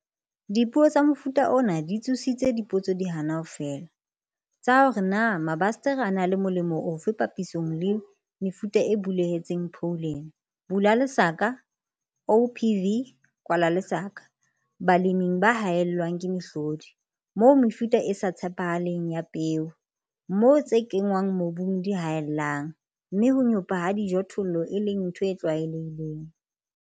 Dipuo tsa mofuta ona di tsositse dipotso di hana ho fela, tsa hore na mabasetere a na le molemo ofe papisong le mefuta e bulehetseng pholene, OPV, baleming ba haellwang ke mehlodi, moo mefuta e sa tshepahaleng ya peo, moo tse kenngwang mobung di haellang, mme ho nyopa ha dijothollo e leng ntho e tlwaelehileng.